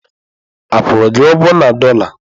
A kwụrụ gị ụgwọ na dọla?